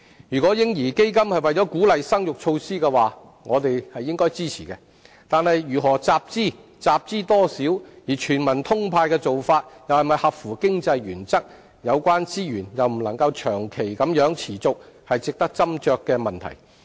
如果"嬰兒基金"是一項鼓勵生育的措施，我們應該予以支持，但如何集資、集資多少、"全民通派"的做法是否合乎經濟原則，以及有關資源能否長期持續，均是值得斟酌的問題。